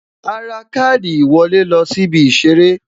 A ra káàdì ìwọlé lọ sí ibi Ìṣeré